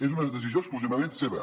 és una decisió exclusivament seva